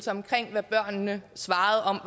omkring hvad børnene svarede om